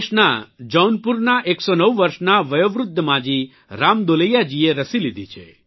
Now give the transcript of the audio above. ઉત્તરપ્રદેશના જૌનપુરના 109 વર્ષના વયોવૃદ્ધ માજી રામદુલૈયાજીએ રસી લીધી છે